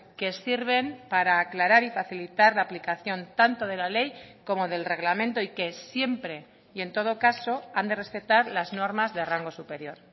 que sirven para aclarar y facilitar la aplicación tanto de la ley como del reglamento y que siempre y en todo caso han de respetar las normas de rango superior